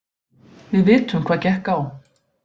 Við vitum hvað gekk á.